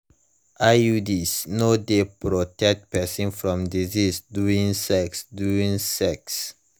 iuds no de protect person from disease during sex during sex